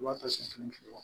I b'a ta sen fila